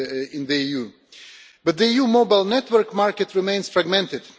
in the EU, but the EU mobile network market remains fragmented.